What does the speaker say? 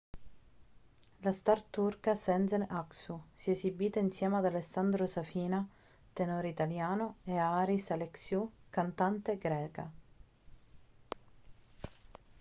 la star turca sezen aksu si è esibita insieme ad alessandro safina tenore italiano e a haris alexiou cantante greca